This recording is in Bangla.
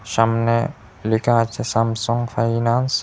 সামনে লেখা আছে স্যামসাং ফাইন্যান্স ।